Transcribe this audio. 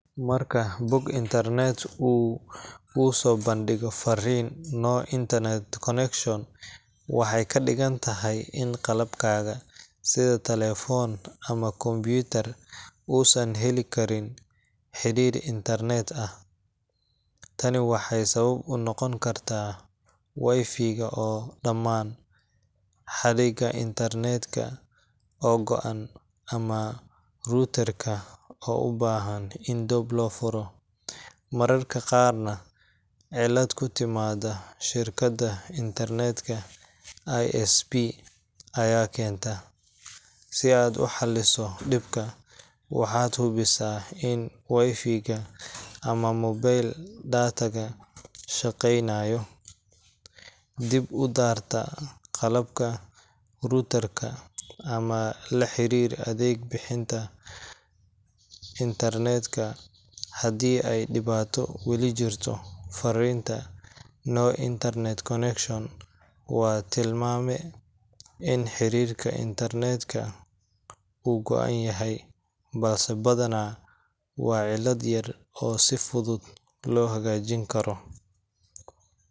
Marka bog internet uu kuu soo bandhigo fariinta No Internet Connection, waxay ka dhigan tahay in qalabkaaga sida telefoon ama kombiyuutar uusan heli karin xiriir internet ah. Tani waxay sabab u noqon kartaa Wi-Fi ga oo dammaan, xadhigga internet ka oo go'an, ama router ka oo u baahan in dib loo furo. Mararka qaarna, cilad ku timaadda shirkadda internet ka ISP ayaa keenta. Si aad u xalliso dhibka, waxaad hubisaa in Wi-Fi ga ama mobile data ga shaqeynayo, dib u daartaa qalabka router ka, ama la xiriir adeeg bixiyaha internet-ka haddii ay dhibaato weli jirto. Fariinta No Internet Connection waa tilmaame in xiriirka internet-ka uu go'an yahay, balse badanaa waa cilad yar oo si fudud loo hagaajin karo